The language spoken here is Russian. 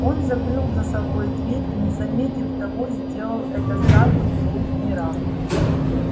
он закрыл за собой дверь и не заметив того сделал это сразу в двух мирах